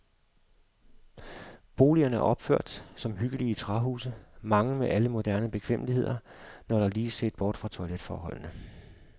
Boligerne er opført som hyggelige træhuse, mange med alle moderne bekvemmeligheder, når der lige ses bort fra toiletforholdene.